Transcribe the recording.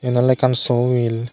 yen awle ekkan so mil.